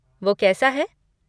वो कैसा है?